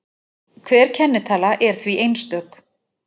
Hver kennitala er því einstök.